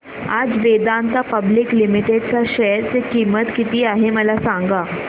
आज Vedanta public limited च्या share ची किंमत किती आहे मला सांगा